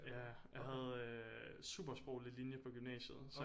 Ja jeg havde øh supersproglig linje på gymnasiet så